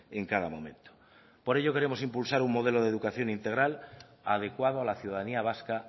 en cada momento por ello queremos impulsar un modelo de educación integral adecuado a la ciudadanía vasca